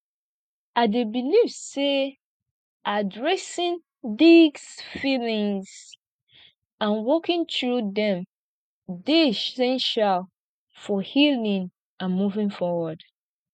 i dey believe say addressing these feelings and working through dem dey essential for healing and moving forward